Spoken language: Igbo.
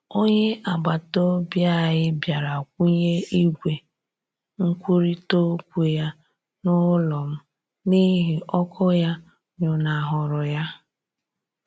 Onye agbataobi anyị bịara kwụnye igwe nkwurita okwu ya n'ụlọ m n'ihi ọkụ ya nyụnahụrụ ya.